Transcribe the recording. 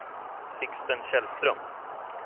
Sixten Källström